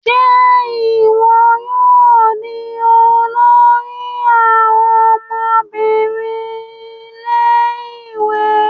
Ṣe iwọ yóò di olori àwọn ọmọbìnrin ilé-ìwé?